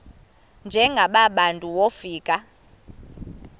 njengaba bantu wofika